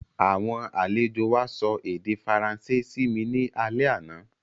Àwọn àlejò wa sọ èdè Faransé simi ni alẹ́ àná